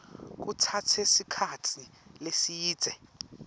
kutsatse sikhatsi lesidze